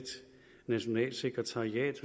nationalt sekretariat